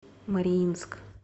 мариинск